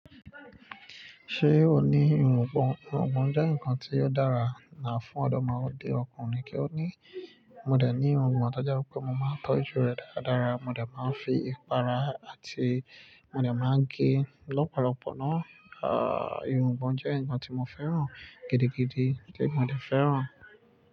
Ṣé o ní irungbọ̀n? Irungbọ̀n jẹ́ ǹkan tí ó dára, náà fún ọdọmode ọkùnrin kí ó ní. Mo dè ní irungbọ̀n, to je wipe mo máa n tọ́jú rè dáradára, mo dè máa ń fi ipara àti mo dè máa ń gé lọ́pọ̀lọpọ̀ náà. Àà, irungbọ̀n jẹ́ ǹkan tí mo féràn gidigidi, tí mo dè féràn.